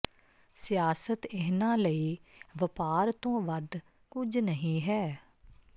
ਸਿਆਸਤ ਇਹਨਾਂ ਲਈ ਵਪਾਰ ਤੋਂ ਵੱਧ ਕੁਝ ਨਹੀਂ ਹੈ